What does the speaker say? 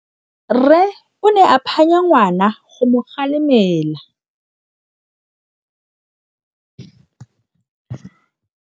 Rre o ne a phanya ngwana go mo galemela.